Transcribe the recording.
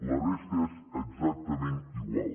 la resta és exactament igual